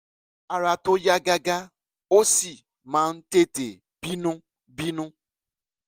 ara tó yá gágá ó sì máa ń tètè bínú bínú